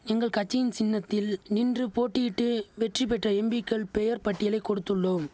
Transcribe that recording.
எங்கள் கட்சியின் சின்னத்தில் நின்று போட்டியிட்டு வெற்றி பெற்ற எம்பிக்கள் பெயர் பட்டியலை கொடுத்துள்ளோம்